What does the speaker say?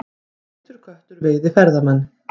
Feitur köttur veiði ferðamenn